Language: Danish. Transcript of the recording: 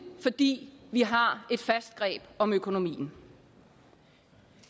fordi vi har et fast greb om økonomien